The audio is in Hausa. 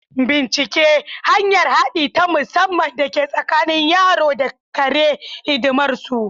Bincika hanyar haɗi ta musamman da ke tsakanin yaro da kare hidimarsu.